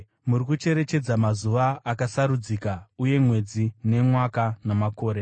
Muri kucherechedza mazuva akasarudzika uye mwedzi nemwaka namakore!